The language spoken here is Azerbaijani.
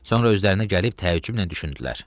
Sonra özlərinə gəlib təəccüblə düşündülər.